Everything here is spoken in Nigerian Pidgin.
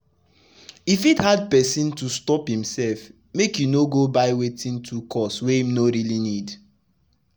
e fit hard person to stop imself make e no go buy wetin too cost wey im no really need.